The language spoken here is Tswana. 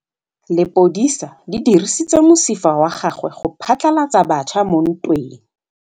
Lepodisa le dirisitse mosifa wa gagwe go phatlalatsa batšha mo ntweng.